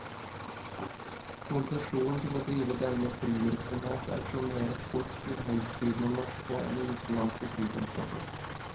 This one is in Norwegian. Konsesjon til å drive denne flyvirksomhet auksjoneres bort til høystbydende norske eller utenlandske flyselskaper.